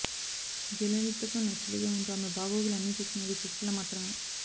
జలలితకు నెచ్చెలిగా ఉంటూ ఆమె బాగోగులు అన్ని చూసుకునేది శశికళ మాత్రమే